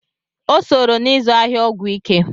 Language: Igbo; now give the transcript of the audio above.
O sooro n'izụ ahịa ọgwụ ike.